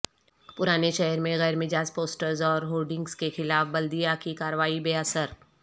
پرانے شہر میں غیر مجاز پوسٹرس اور ہورڈنگس کے خلاف بلدیہ کی کارروائی بے اثر